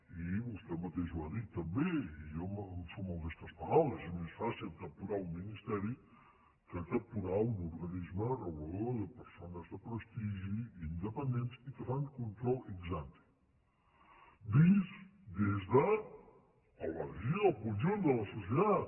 i vostè mateix ho ha dit també i jo em sumo a aquestes paraules és més fàcil capturar un ministeri que capturar un organisme regulador de persones de prestigi independents i que fan control ex ante vist des del benefici del conjunt de la societat